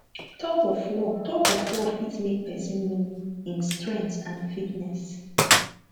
thug of war thug of war fit make person know im strength and fitness